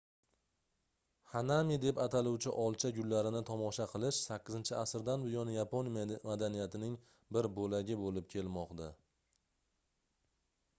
hanami deb ataluvchi olcha gullarini tomosha qilish 8-asrdan buyon yapon madaniyatining bir boʻlagi boʻlib kelmoqda